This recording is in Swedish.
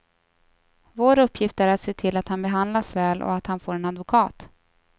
Vår uppgift är att se till att han behandlas väl och att han får en advokat.